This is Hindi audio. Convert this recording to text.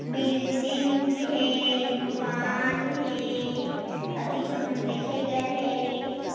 बिल्डिंग हे दुकान हे अति झ मन देखे गे हे।